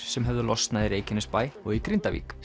sem höfðu losnað í Reykjanesbæ og í Grindavík